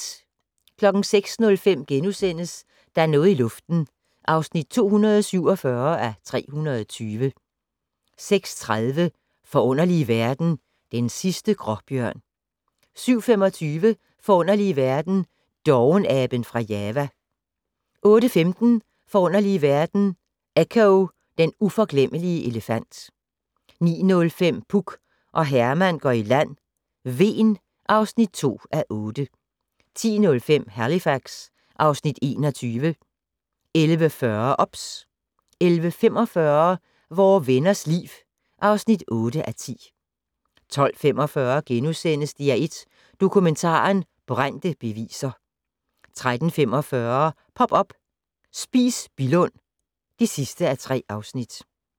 06:05: Der er noget i luften (247:320)* 06:30: Forunderlige verden - Den sidste gråbjørn 07:25: Forunderlige verden - Dovenaben fra Java 08:15: Forunderlige verden - Echo, den uforglemmelige elefant 09:05: Puk og Herman går i land - Hven (2:8) 10:05: Halifax (Afs. 21) 11:40: OBS 11:45: Vore Venners Liv (8:10) 12:45: DR1 Dokumentaren: Brændte beviser * 13:45: Pop up - Spis Billund (3:3)